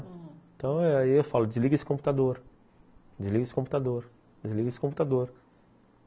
Então aí eu falo, desliga esse computador, desliga esse computador, desliga esse computador.